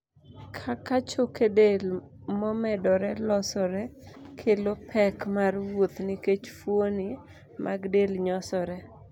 kaka choke del momedore losore kelo pek mar wuoth nikech fuoni mag del nyosore